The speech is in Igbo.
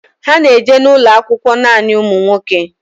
Ha na eje n'ulo akwụkwọ nanị ụmụ nwoke